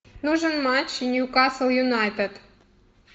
нужен матч ньюкасл юнайтед